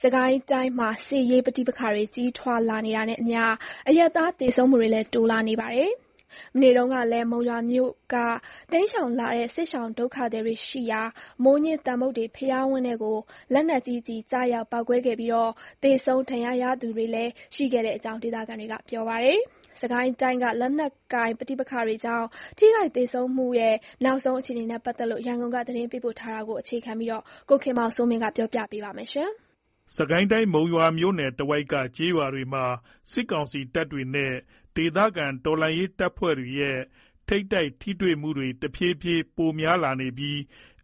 စစ်ကိုင်းတိုင်းမှာ စစ်ရေးပဋိပက္ခတွေ ကြီးထွားလာနေတာနဲ့အမျှ အရပ်သား သေဆုံးမှုတွေလည်း တိုးလာနေပါတယ်။ မနေ့တုန်းကလည်း မုံရွာမြို့က တိမ်းရှောင်လာတဲ့ စစ်ရှောင်ဒုက္ခသည်တွေရှိရာ မိုးညှင်းသမ္ဗုဒ္ဓေ ဘုရားဝင်းထဲကို လက်နက်ကြီးကျည် ကျရောက်ပေါက်ကွဲခဲ့ပြီး သေဆုံး၊ ဒဏ်ရာရသူတွေတွေ ရှိခဲ့ကြောင်း ဒေသခံတွေက ပြောပါတယ်။ စစ်ကိုင်းတိုင်းက လက်နက်ကိုင်ပဋိပက္ခတွေကြောင့် ထိခိုက်သေဆုံးမှု နောက်ဆုံးအခြေအနေနဲ့ ပတ်သက်လို့ ရန်ကုန်က သတင်းပေးပို့ထားတာကို အခြေခံပြီး ကိုခင်မောင်စိုးမင်း တင်ပြထားပါတယ်။ မုံရွာမြို့နယ်တဝိုက်က ကျေးရွာတွေမှာ စစ်ကောင်စီတပ်တွေနဲ့ ဒေသခံ တော်လှန်ရေးတပ်ဖွဲ့တွေရဲ့ ထိပ်တိုက်ထိတွေ့မှုတွေ တဖြည်းဖြည်း ပိုများလာနေပြီး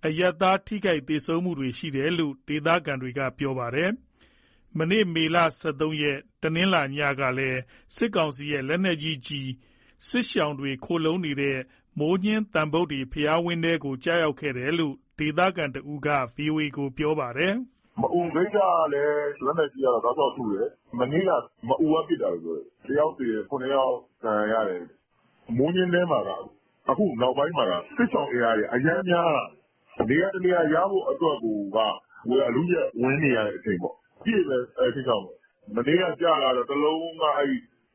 အရပ်သား ထိခိုက်သေဆုံးမှုတွေ ရှိနေတယ်လို့ ဒေသခံတွေ ပြောပါတယ်။ မနေ့က မေလ ၁၃ရက်၊ တနင်္လာနေ့ညကလည်း စစ်ရှောင်တွေ ခိုလှုံနေတဲ့ မိုးညှင်းသမ္ဗုဒ္ဓေ ဘုရားဝင်းထဲကို စစ်ကောင်စီရဲ့ လက်နက်ကြီးကျည် ကျခဲ့တယ်လို့ ဒေသခံတဦးက ဗွီအိုအေကို ပြောပါတယ်။ " မအူဂိတ်ကလည်း လက်နက်ကြီးနဲ့ တောက်လျှောက်ထုတယ်၊ မနေ့က မအူ က ပစ်တာလို့ပြောတယ်။ တယောက်သေတယ်၊ ခုနှစ်ယောက် ဒဏ်ရာရတယ်။ မိုးညှင်း ထဲမှာ နောက်ပိုင်းမှာက စစ်ရှောင်အင်အားက အရမ်းများလာတာ၊ နေရာတနေရာ ရဖို့အတွက် အလုအယက် ဝင်နေရတဲ့အချိန်ပေါ့။ အပြည့်ပဲ အဲဒီစစ်ရှောင်တွေက။ မနေ့ကကျတာက တလုံးက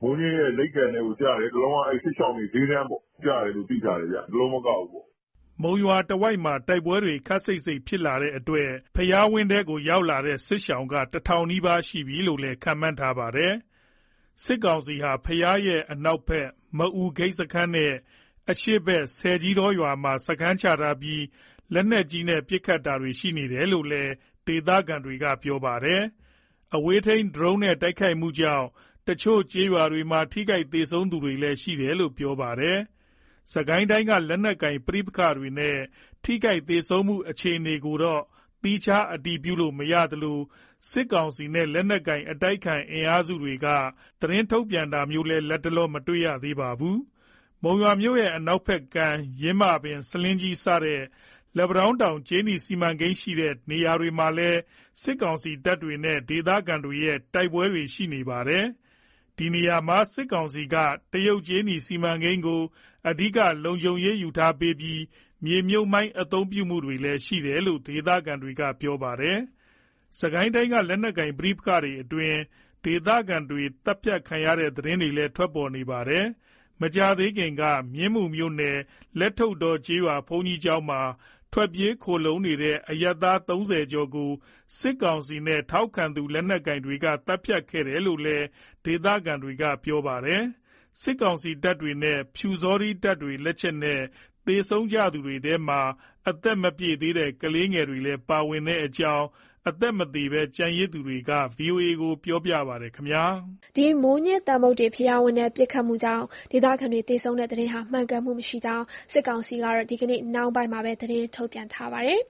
မိုးညှင်းရဲ့ လိပ်ကန်ထဲကိုကျတယ်၊ တလုံးက စစ်ရှောင်တွေ စျေးတန်းပေါ့ ကျတယ်လို့ သိထားတယ်ဗျ။" မုံရွာတဝိုက်မှာ တိုက်ပွဲတွေ ခပ်စိပ်စိပ် ဖြစ်လာတဲ့အတွက် ဘုရားဝင်းထဲကိုရောက်လာတဲ့ စစ်ရှောင်က တထောင်နီးပါးရှိပြီလို့လည်း ခန့်မှန်းထားပါတယ်။ စစ်ကောင်စီဟာ ဘုရားရဲ့ အနောက်ဘက် မအူဂိတ်စခန်းနဲ့ အရှေ့ဘက်ဆည်ကြီးတောရွာမှာ စခန်းချထားပြီး လက်နက်ကြီးနဲ့ ပစ်ခတ်တာတွေ ရှိနေတယ်လို့လည်း ဒေသခံတွေက ပြောပါတယ်။အဝေးထိန်း ဒရုန်းတွေနဲ့ တိုက်ခိုက်မှုကြောင့် တချို့ကျေးရွာတွေမှာ ထိခိုက်သဆုံးသူလည်း ရှိတယ်လို့ ပြောပါတယ်။ စစ်ကိုင်းတိုင်းက လက်နက်ကိုင် ပဋိပက္ခတွေနဲ့ ထိခိုက်သေဆုံးမှု အခြေအနေကိုတော့ သီးခြားအတည်ပြုလို့မရသလို၊ စစ်ကောင်စီနဲ့ လက်နက်ကိုင် အတိုက်အခံ အင်အားစုတွေက သတင်းထုတ်ပြန်တာမျိုးလည်း လတ်တလော မတွေ့ရသေးပါဘူး။ မုံရွာမြို့ရဲ့ အနောက်ဘက်ကမ်း ယင်းမာပင်၊ ဆားလင်းကြီး စတဲ့ လက်ပံတောင်းတောင် ကြေးနီစီမံကိန်း ရှိတဲ့ နေရာတွေမှာလည်း စစ်ကောင်စီတပ်တွေနဲ့ ဒေသခံတွေရဲ့ တိုက်ပွဲတွေ ရှိနေပါတယ်။ ဒီနေရာမှာ စစ်ကောင်စီက တရုတ်ကြေးနီစီမံကိန်းကို အဓိက လုံခြုံရေးယူပေးနေပြီး၊ မြေမြှုပ်မိုင်း အသုံးပြုမှုတွေလည်း ရှိနေတယ်လို့ ဒေသခံတွေက ပြောကြပါတယ်။ စစ်ကိုင်းတိုင်းက လက်နက်ကိုင် ပဋိပက္ခတွေအတွင်း ဒေသခံတွေ သတ်ဖြတ်ခံရတဲ့ သတင်းတွေလည်း ထွက်ပေါ်နေတာပါ။ မကြာသေးခင်ကပဲ မြင်းမူမြို့နယ် လက်ထုတ္ထော ကျေးရွာ ဘုန်းကြီးကျောင်းမှာ ထွက်ပြေး ခိုလှုံနေတဲ့ အရပ်သား ၃၀ ကျော်ကို စစ်ကောင်စီနဲ့ ထောက်ခံသူ လက်နက်ကိုင်တွေက သတ်ဖြတ်ခဲ့တယ်လို့လည်း ဒေသခံတွေက ပြောပါတယ်။ စစ်ကောင်စီတပ်တွေနဲ့ ပျူစောထီးတပ်တွေ လက်ချက်နဲ့ သေဆုံးသူတွေထဲမှာ အသက်မပြည့်သေးတဲ့ ကလေးငယ်တွေပါ ပါဝင်တဲ့အကြောင်း မသေဘဲ ကျန်ရစ်သူတွေက ဗွီအိုအေကို ပြောပါတယ်။ မိုးညှင်းသမ္ဗုဒ္ဓေဘုရားဝင်းထဲ ပစ်ခတ်မှုကြောင့် ဒေသခံတွေ သေဆုံးတဲ့ သတင်းဟာ မှန်ကန်မှုမရှိကြောင်း စစ်ကောင်စီကတော့ ဒီကနေ့နှောင်းပိုင်းမှာပဲ သတင်းထုတ်ပြန်ထားပါတယ်